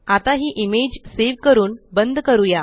आता हि image save करून बंद करूया